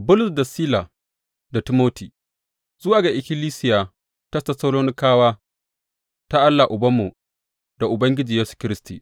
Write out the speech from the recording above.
Bulus, da Sila, da Timoti, Zuwa ga ikkilisiya ta Tessalonikawa ta Allah Ubanmu da Ubangiji Yesu Kiristi.